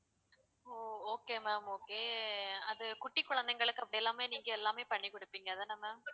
ஓ okay ma'am okay அது குட்டி குழந்தைகளுக்கு அப்படி எல்லாமே நீங்க எல்லாமே பண்ணி குடுப்பிங்க அதானே ma'am